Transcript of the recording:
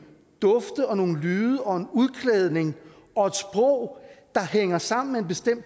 dufte og nogle lyde og en udklædning og et sprog der hænger sammen med en bestemt